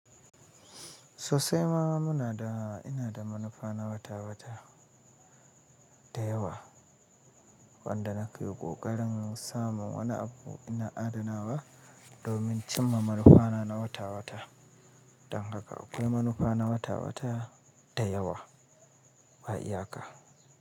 Sosai ma muna da ina da manufa na wata-wata da yawa wanda na ke ƙoƙarin samun wani abu ina adana wa domin cimma manufa na na wata-wata. Don haka akwai manufa na wata-wata da yawa ba iyaka.